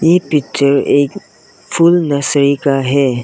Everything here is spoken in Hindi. ये पिक्चर एक फूल नर्सरी का है।